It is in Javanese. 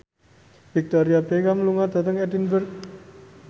Victoria Beckham lunga dhateng Edinburgh